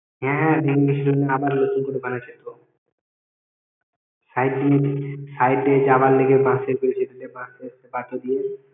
হ্যাঁ হ্যাঁ ভেঙ্গে গেছিল আবার নতুন করে বানাইছে তো side bridge side দিয়ে যাওয়া লাইগে বাঁশের bridge দিয়ে দিছে বাঁশের পাটা দিয়ে